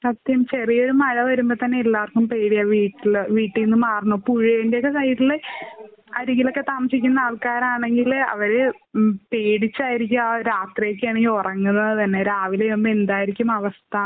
സത്യം ചെറിയ ഒരു മഴ വരുമ്പോ തന്നെ എല്ലാവർക്കും പേടിയാ വീട്ടില് വീട്ടീന്ന് മാറണം. പുഴയുടെ ഒക്കെ സൈഡില് അരികിലൊക്കെ താമസിക്കുന്ന ആൾകാരാണെങ്കില് അവര് പേടിച്ചായിരിക്കും ആ ഒരു രാത്രിയൊക്ക ആണെങ്കി ഉറങ്ങുന്നത് തന്നെ. രാവിലെയാവുമ്പോ എന്തായിരിക്കും അവസ്ഥാന്ന്